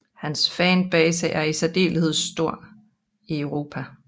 Hans fanbase er i særdeleshed stor i Europa